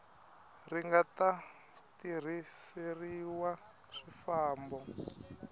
ri nga ta tirhiseriwa swifambo